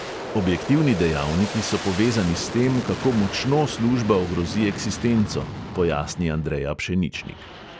Objektivni dejavniki so povezani s tem, kako močno služba ogrozi eksistenco," pojasni andreja pšeničnik.